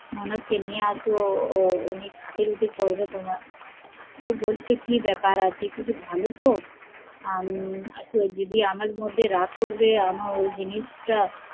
ননদ কে নিয়ে এস অনেক খাতির খুঁটির করবে তোমার, বলছে কি ব্যাপার আছে? কিছু ভালোতো যদি আমার মধ্যে রাগ করবে ওই জিনিস টা